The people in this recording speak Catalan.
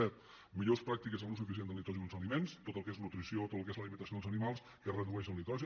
set millors pràctiques en l’ús eficient del nitrogen als aliments tot el que és nutrició tot el que és l’alimentació dels animals que redueix el nitrogen